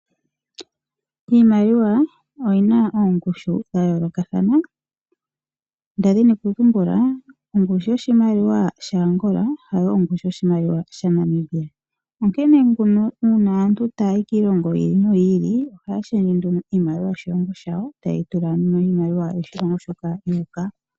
Iimaliwa oyina oongushu dhayoolokathana ndazi nokutumbula ongushu goshimaliwa shaAngola hayi ongushu goshimaliwa shaNamibia. Onkene nduno uuna aantu taayi kiilongo yiili noyiili ohaashendje nduno iimaliwa yoshilongo shawl tayeyi tula nduno miimaliwa yoshilongo shoka yuuka.